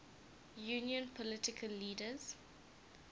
union political leaders